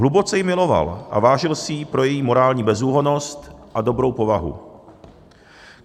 Hluboce ji miloval a vážil si jí pro její morální bezúhonnost a dobrou povahu.